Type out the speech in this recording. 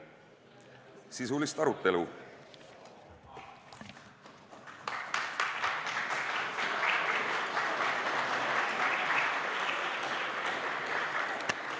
Sisulist arutelu!